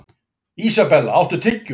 Isabella, áttu tyggjó?